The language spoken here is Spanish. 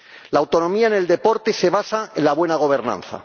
La autonomía en el deporte se basa en la buena gobernanza.